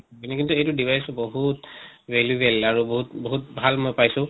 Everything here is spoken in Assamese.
কিন্তু এইটো device টো বহুত ভেলুৱেল আৰু বহুত বহুত ভাল মই পাইছো।